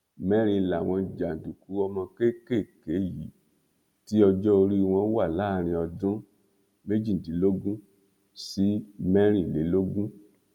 mẹrin làwọn jàǹdùkú ọmọ kéékèèké yìí tí ọjọ orí wọn wà láàrin ọdún méjìdínlógún sí mẹrìnlélógún